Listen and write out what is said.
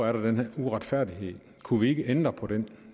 er den her uretfærdighed kunne vi ikke ændre på den